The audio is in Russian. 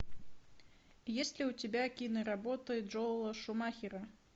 есть ли у тебя киноработы джоэла шумахера